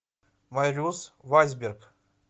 марюс вайсберг